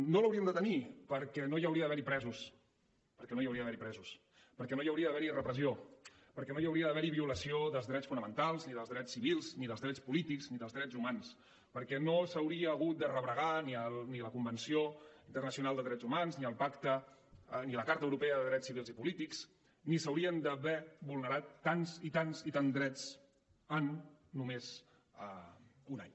no l’hauríem de tenir perquè no hi hauria d’haver presos perquè no hi hauria d’haver presos perquè no hi hauria d’haver repressió perquè no hi hauria d’haver violació dels drets fonamentals ni dels drets civils ni dels drets polítics ni dels drets humans perquè no s’hauria hagut de rebregar ni la convenció internacional de drets humans ni la carta europea de drets civils i polítics ni s’haurien d’haver vulnerat tants i tants i tants drets en només un any